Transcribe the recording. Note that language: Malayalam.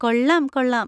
കൊള്ളാം... കൊള്ളാം!